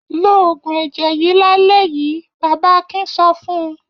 Lo òògùn ẹ̀jẹ̀ yìí lálẹ́ yìí! Bàbá Akin sọ fún un.